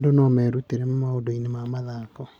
Andũ no merutĩre maũndũ-inĩ ma mathako.